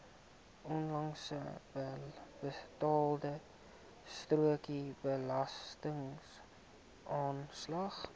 onlangse betaalstrokie belastingaanslag